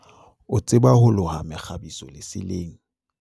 o tseba ho loha mekgabiso leseleng